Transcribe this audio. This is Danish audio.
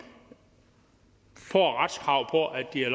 får retskrav på at de har